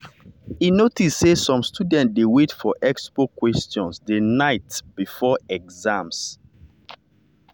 e notice say some students dey wait for expo questions the night night before exam.